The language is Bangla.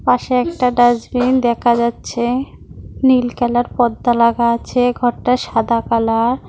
পাশে একটা ডাস্টবিন দেকা যাচ্ছে নীল কালার পর্দা লাগা আছে ঘরটা সাদা কালার ।